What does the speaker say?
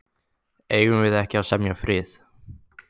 Eigum við ekki að semja frið.